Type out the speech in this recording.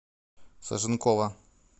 саженкова